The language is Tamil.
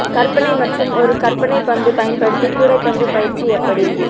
கற்பனை மற்றும் ஒரு கற்பனை பந்து பயன்படுத்தி கூடைப்பந்து பயிற்சி எப்படி